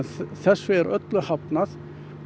þessu er öllu hafnað